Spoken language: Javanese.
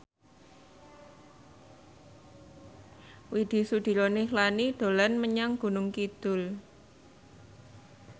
Widy Soediro Nichlany dolan menyang Gunung Kidul